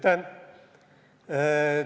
Aitäh!